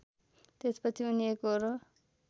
त्यसपछि उनी एकोहोरो